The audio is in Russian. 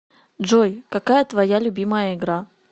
джой какая твоя любимая игра